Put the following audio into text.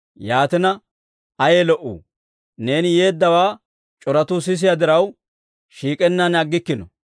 Yaatina, ayee lo"uu? Neeni yeeddawaa c'oratuu sisiyaa diraw, shiik'ennaan aggikkino.